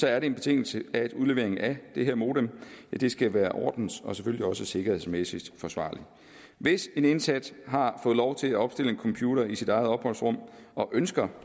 er det en betingelse at udleveringen af det her modem skal være ordens og selvfølgelig også sikkerhedsmæssigt forsvarlig hvis en indsat har fået lov til at opstille en computer i sit eget opholdsrum og ønsker